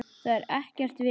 Það er ekkert veður.